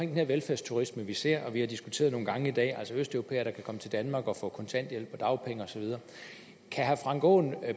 den her velfærdsturisme vi ser og har diskuteret nogle gange i dag altså østeuropæere der kan komme til danmark og få kontanthjælp og dagpenge og så videre kan herre frank aaen